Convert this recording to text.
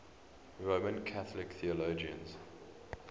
roman catholic theologians